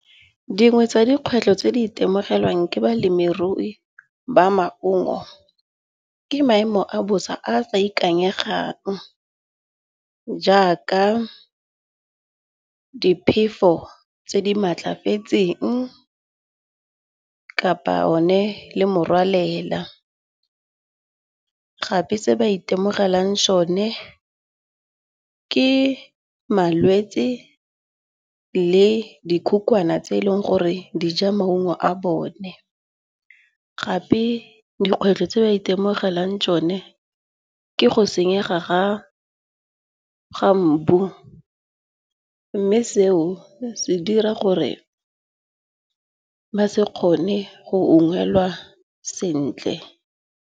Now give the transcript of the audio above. Dingwe tsa dikgwetlho tse di itemogelang ke balemirui ba maungo ke maemo a bosa a a sa ikanyegang. Jaaka diphefo tse di matlafetseng kapa one le morwalela. Gape se ba itemogelang sone ke malwetsi le dikhukhwane tse eleng gore di ja maungo a bone. Gape dikgwetlho tse ba itemogelang tsone ke go senyega ga mbu. Mme seo se dira gore ba se kgone go ungwelwa sentle.